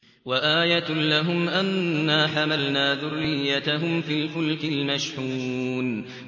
وَآيَةٌ لَّهُمْ أَنَّا حَمَلْنَا ذُرِّيَّتَهُمْ فِي الْفُلْكِ الْمَشْحُونِ